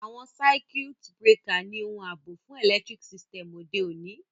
Àwon circuit breaker ni oun àbò fun electric system òde ọ̀ní